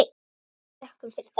Við þökkum fyrir það.